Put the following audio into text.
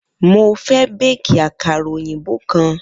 Mo fẹ́ béékì àkàrà òyìnbó kan.